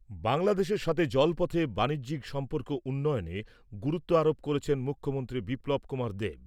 বাংলাদেশের সঙ্গে জল পথে বানিজ্যিক সম্পর্ক উন্নয়নে গুরুত্ব আরোপ করেছেন মুখ্যমন্ত্রী বিপ্লব কুমার দেব।